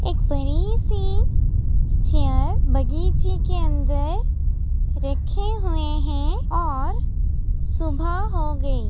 एक बड़ी सी चेयर बगीचे के अंदर रखे हुए हैं और सुबह हो गई।